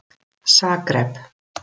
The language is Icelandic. Zagreb